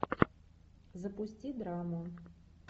запусти драму